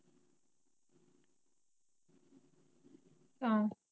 ਤਾਂ।